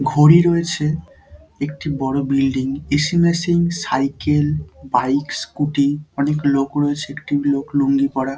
ঘড়ি রয়েছে একটি বড় building AC. Machine cycle bike scooty অনেক লোক রয়েছে একটি লোক লুঙ্গি পরা।